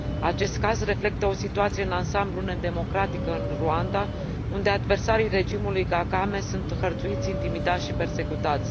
Acest caz reflectă o situație în ansamblul nedemocratică în Rwanda, unde adversarii regimului Kagame sunt hărțuiți, intimidați și persecutați.